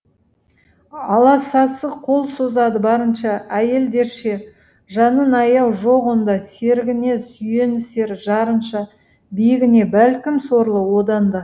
аласасы қол созады барынша әйелдерше жанын аяу жоқ онда серігіне сүйенісер жарынша биігіне бәлкім сорлы одан да